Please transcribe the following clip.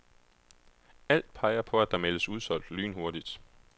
Alt peger på, at der meldes udsolgt lynhurtigt.